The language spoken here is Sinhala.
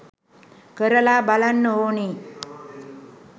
කරලා බලන්න ඕනේ